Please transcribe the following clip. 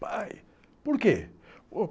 Pai, por quê?